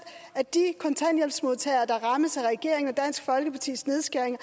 af de kontanthjælpsmodtagere der rammes af regeringen og dansk folkepartis nedskæringer